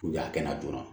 a kɛnɛ joona